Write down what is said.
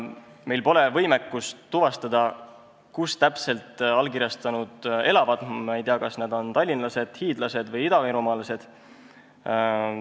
Meil pole võimalik tuvastada, kus allkirjastanud täpselt elavad, me ei tea, kas nad on tallinlased, hiidlased või idavirumaalased.